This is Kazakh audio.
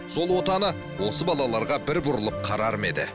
сол отаны осы балаларға бір бұрылып қарар ма еді